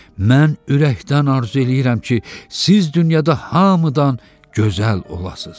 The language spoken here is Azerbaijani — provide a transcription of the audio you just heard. Mən ürəkdən arzu eləyirəm ki, siz dünyada hamıdan gözəl olasız.